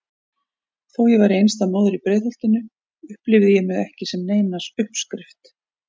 Þó ég væri einstæð móðir í Breiðholtinu upplifði ég mig ekki sem neina uppskrift.